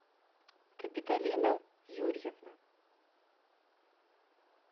капитолина юрьевна